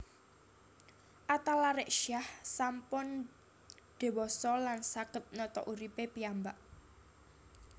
Atalarik Syah sampun diwasa lan saget nata urip e piyambak